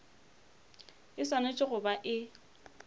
e swanetše go ba e